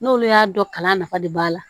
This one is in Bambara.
N'olu y'a dɔn kalan nafa de b'a la